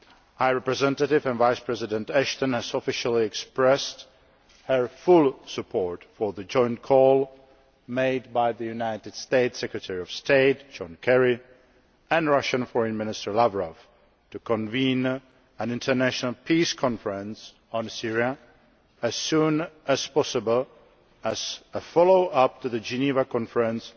High Representative and Vice President Ashton has officially expressed her full support for the joint call made by United States Secretary of State, John Kerry, and Russian Foreign Minister Lavrov to convene an international peace conference on Syria as soon as possible as a follow up to the Geneva Conference